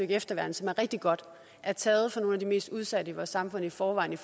efterværn som er rigtig godt er taget fra nogle af de mest udsatte i vores samfund i forvejen